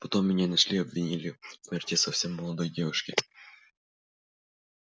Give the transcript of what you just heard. потом меня нашли и обвинили в смерти совсем молодой девушки